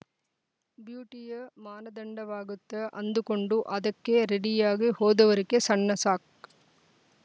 ಬ್ಯೂಟಿಯೇ ಮಾನದಂಡವಾಗುತ್ತೆ ಅಂದುಕೊಂಡು ಅದಕ್ಕೇ ರೆಡಿಯಾಗಿ ಹೋದವರಿಗೆ ಸಣ್ಣ ಸಕ್‌